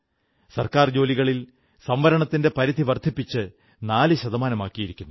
സർക്കാർ ജോലികളിൽ സംവരണത്തിന്റെ പരിധി വർധിപ്പിച്ച് 4 ശതമാനമാക്കിയിരിക്കുന്നു